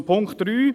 Zum Punkt 3: